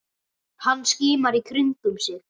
Hann skimar í kringum sig.